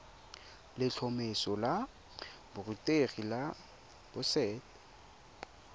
letlhomeso la borutegi la boset